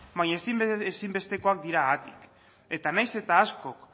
baina ezinbestekoak dira haatik eta nahiz eta askok